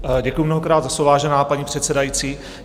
Děkuji mnohokrát za slovo, vážená paní předsedající.